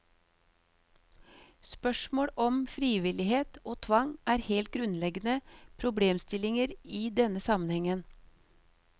Spørsmål om frivillighet og tvang er helt grunnleggende problemstillinger i denne sammenhengen.